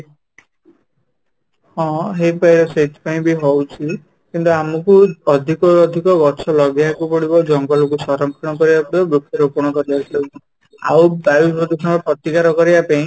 ହଁ, ହେଇପାରେ ସେଇଥିପାଇଁ ବି ହଉଛି କିନ୍ତୁ ଆମକୁ ଅଧିକ ରୁ ଅଧିକ ଗଛ ଲଗେଇବାକୁ ପଡିବ ଜଙ୍ଗଲ କୁ ସଂରକ୍ଷଣ କରିବାକୁ ପଡିବ ବୃକ୍ଷ ରୋପଣ କରିବାକୁ ପଡିବ ଆଉ ବାୟୁ ପ୍ରଦୂଷଣ ର ପ୍ରତିକାର କରିବା ପାଇଁ